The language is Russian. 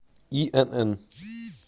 инн